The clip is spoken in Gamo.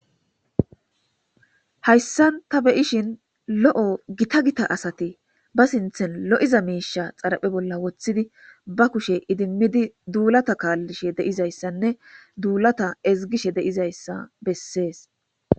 hayssan ta beyishin lo7o gita gita asati ba sinthen lo7iza miisha xaraphe bolla woththidi ba kushe idimmidi duulata kaallishe deizayssanne duulata ezgishe deizayssa bessees